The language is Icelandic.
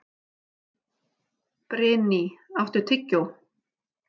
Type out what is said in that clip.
Brynný, áttu tyggjó?